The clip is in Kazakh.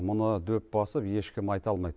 мұны дөп басып ешкім айта алмайды